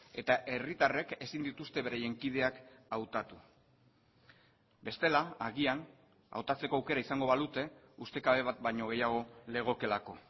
eta herritarrek ezin dituzte beraien kideak hautatu bestela agian hautatzeko aukera izango balute ustekabe bat baino gehiago legokeelako